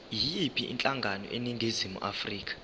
yiyiphi inhlangano eningizimu